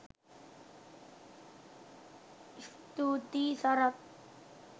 ස්තුතියි සරත්